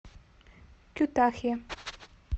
кютахья